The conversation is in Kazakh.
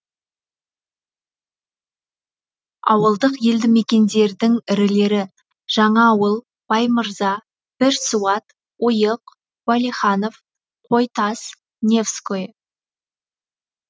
ауылдық елді мекендердің ірілері жаңаауыл баймырза бірсуат ойық уәлиханов қойтас невское